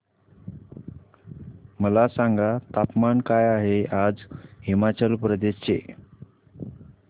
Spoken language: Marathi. मला सांगा तापमान काय आहे आज हिमाचल प्रदेश चे